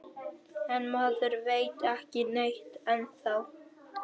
En maður veit ekki neitt ennþá